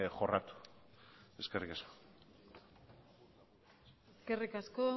jorratu eskerrik asko eskerrik asko